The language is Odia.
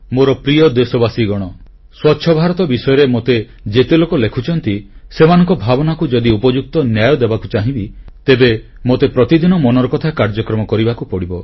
ମୋର ପ୍ରିୟ ଦେଶବାସୀଗଣ ସ୍ୱଚ୍ଛ ଭାରତ ବିଷୟରେ ମୋତେ ଯେତେ ଲୋକ ଲେଖୁଛନ୍ତି ସେମାନଙ୍କ ଭାବନାକୁ ଯଦି ଉପଯୁକ୍ତ ନ୍ୟାୟ ଦେବାକୁ ଚାହିଁବି ତେବେ ମୋତେ ପ୍ରତିଦିନ ମନ କି ବାତ କାର୍ଯ୍ୟକ୍ରମ କରିବାକୁ ପଡ଼ିବ